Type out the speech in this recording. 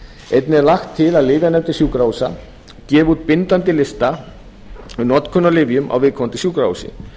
einnig er lagt til að lyfjanefndir sjúkrahúsa gefi út bindandi lista um notkun á lyfjum á viðkomandi sjúkrahúsi